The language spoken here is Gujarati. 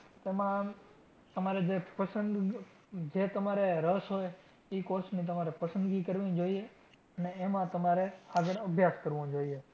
એમાં તમારે જે પસંદ જે તમારે રસ હોય ઈ course ની તમારે પસંદગી કરવી જોઈએ અને એમાં તમારે આગળ અભ્યાસ કરવો જોઈએ.